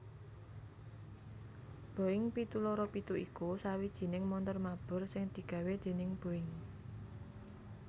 Boeing pitu loro pitu iku sawijining montor mabur sing digawé déning Boeing